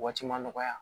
Waati ma nɔgɔya